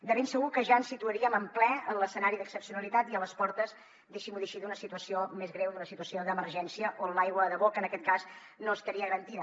de ben segur que ja ens situaríem en ple en l’escenari d’excepcionalitat i a les portes deixi m’ho dir així d’una situació més greu d’una situació d’emergència on l’aigua de boca en aquest cas no estaria garantida